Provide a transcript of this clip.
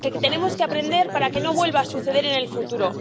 tenemos que aprender para que no vuelva a suceder en el futuro.